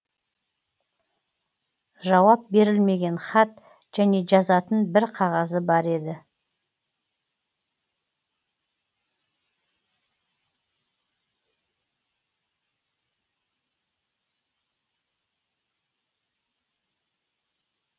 жауап берілмеген хат және жазатын бір қағазы бар еді